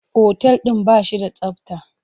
Otal ɗin ba shi da tsabta.